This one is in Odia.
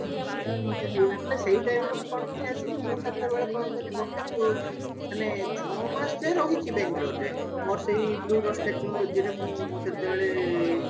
କିଛି ମତେ ହେଇନଥିଲା ସେଇ time ରେ ମୁଁ କଣ ପାଇଁ ଆସିଲି ମୁଁ ସେତେବେଳ କଣ କଲି ଗୋଟେ ଅ ମାନେ ଛଅ ମାସ ଯାଏ ରହିଛି ବାଙ୍ଗେଲୋର ରେ ମୁଁ ସେଇ bluedust technology ରେ ମୁଁ ମୁଁ ସେଥିରେ